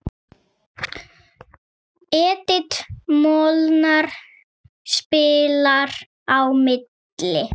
Edith Molnar spilar á milli.